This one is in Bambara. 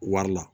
Wari la